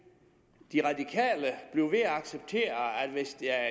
med at acceptere at hvis der